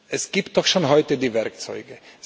Es gibt doch schon heute die Werkzeuge.